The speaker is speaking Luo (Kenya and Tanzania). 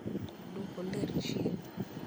duoko ler chien